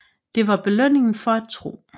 Det var belønningen for at tro